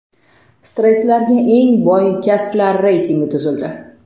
Stresslarga eng boy kasblar reytingi tuzildi .